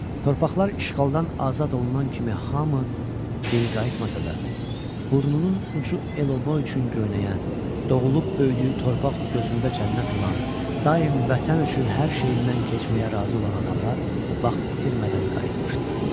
Torpaqlar işğaldan azad olunan kimi hamı geri qayıtmasa da, burnunun ucu el-obası üçün göynəyən, doğulub böyüdüyü torpaq gözündə cənnət olan, daim vətən üçün hər şeyindən keçməyə razı olan adamlar vaxt itirmədən qayıtmışdılar.